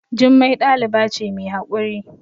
Jummai ɗaliba ce mai haƙuri